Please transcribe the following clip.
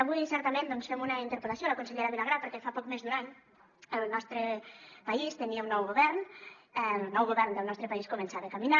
avui certament doncs fem una interpel·lació a la consellera vilagrà perquè fa poc més d’un any el nostre país tenia un nou govern el nou govern del nostre país començava a caminar